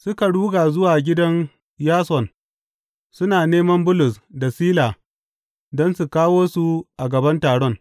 Suka ruga zuwa gidan Yason suna neman Bulus da Sila don su kawo su a gaban taron.